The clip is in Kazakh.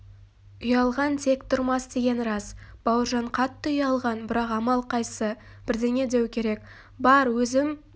ұялған тек тұрмас деген рас бауыржан қатты ұялған бірақ амал қайсы бірдеңе деу керек бар өзім